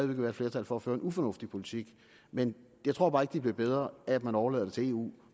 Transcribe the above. vil være et flertal for at føre en ufornuftig politik men jeg tror bare ikke det bliver bedre af at man overlader til eu